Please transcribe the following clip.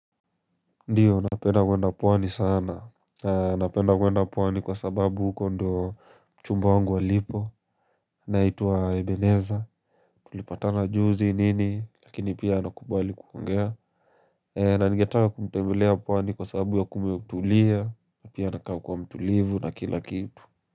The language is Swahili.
Ndiyo napenda kuenda pwani sana, napenda kuenda pwani kwa sababu huko ndo mchumba wangu alipo naitwa Ebeneza, tulipatana juzi nini lakini pia anakubali kuongea na ningetaka kumtembelea pwani kwa sababu ya kumetulia na pia anakaa kua mtulivu na kila kitu.